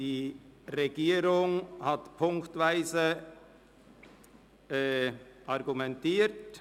Die Regierung hat ziffernweise argumentiert.